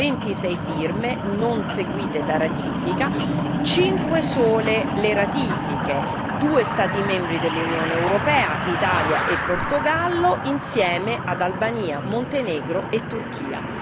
Abbiamo 26 firme non seguite da ratifica, 5 sole le ratifiche 2 Stati membri dell'Unione europea Italia e Portogallo insieme ad Albania, Montenegro e Turchia.